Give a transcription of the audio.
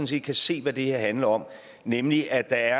set kan se hvad det her handler om nemlig at der